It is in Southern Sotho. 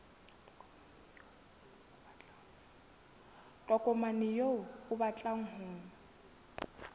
tokomane eo o batlang ho